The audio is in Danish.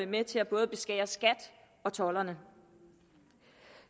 med til både at beskære skat og tolderne